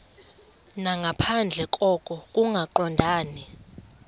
nangaphandle koko kungaqondani